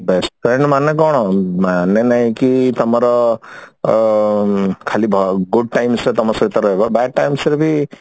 best friend ମାନେ କଣ ମାନେ ନାଇଁ କି ତମର ଅ ଖାଲି good times ରେ ସେ ତମ ସହିତ ରହିବ bad times ରେ ବି